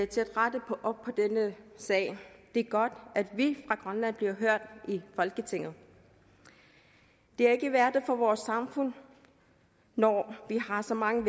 til at rette op på denne sag det er godt at vi fra grønland bliver hørt i folketinget det er ikke værdigt for vores samfund når vi har så mange